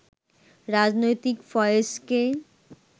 রাজনৈতিক ফয়েজকে